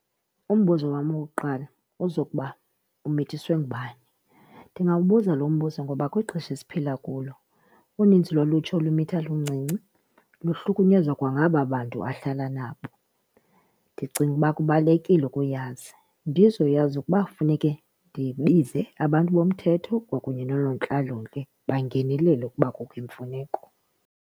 Umbuzo wam wokuqala uzokuba umithiswe ngubani. Ndingawubuza lo mbuzo ngoba kwixesha esiphila kulo uninzi lolutsha olumitha luluncinci luhlukunyezwa kwangaba bantu ahlala nabo. Ndicinga uba kubalulekile ukuyazi ndizoyazi ukuba funeke ndibize abantu bomthetho kwakunye noonontlalontle bangenelele ukuba kukho imfuneko.